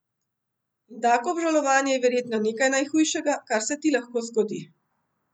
In tako obžalovanje je verjetno nekaj najhujšega, kar se ti lahko zgodi.